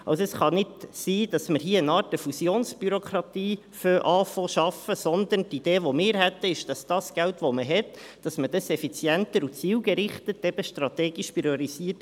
Also: Es kann nicht sein, dass man hier beginnt, eine Art Fusionsbürokratie zu schaffen, sondern unsere Idee ist es, dass man das Geld, das man hat, effizienter und zielgerichtet einsetzt – eben strategisch priorisiert.